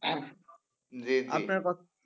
দিয়েছি,